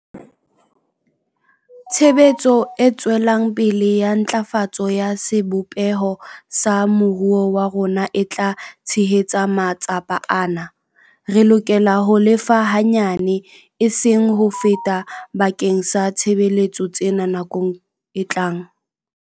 Tshebetso e tswelang pele ya ntlafatso ya sebopeho sa moruo wa rona e tla tshehetsa matsapa ana. Re lokela ho lefa hanyane, eseng ho feta bakeng sa ditshebeletso tsena nakong e tlang.